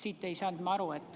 Sellest ma ei saanud aru.